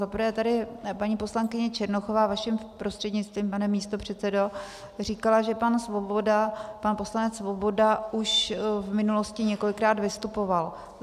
Za prvé tedy paní poslankyně Černochová, vaším prostřednictvím, pane místopředsedo, říkala, že pan poslanec Svoboda už v minulosti několikrát vystupoval.